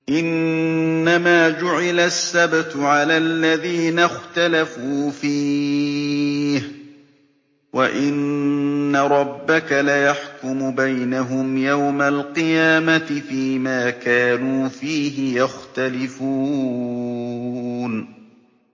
إِنَّمَا جُعِلَ السَّبْتُ عَلَى الَّذِينَ اخْتَلَفُوا فِيهِ ۚ وَإِنَّ رَبَّكَ لَيَحْكُمُ بَيْنَهُمْ يَوْمَ الْقِيَامَةِ فِيمَا كَانُوا فِيهِ يَخْتَلِفُونَ